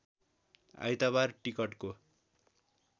आइतबार टिकटको